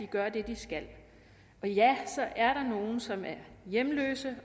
gør det de skal og ja så er der nogle som er hjemløse